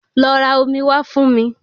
Lọ ra omi wá fún mi